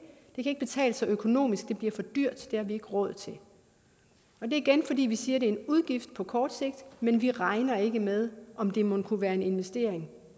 ikke betale sig økonomisk det bliver for dyrt det har vi ikke råd til det er igen fordi vi siger det er en udgift på kort sigt men vi regner ikke med om det mon kunne være en investering